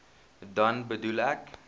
dan bedoel ek